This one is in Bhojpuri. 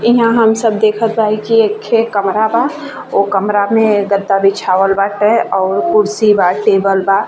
ईहाँ हम सब देखत बाही कि एक खे कमरा बा। कमरा में गद्दा बिछावल बाटे और कुर्सी बा टेबल बा।